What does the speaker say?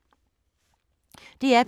DR P2